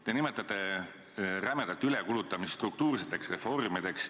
Te nimetate rämedat ülekulutamist struktuurseteks reformideks.